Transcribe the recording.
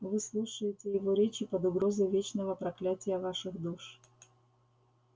вы слушаете его речи под угрозой вечного проклятия ваших душ